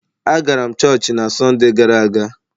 Agara m chọọchị na Sọnde gara aga.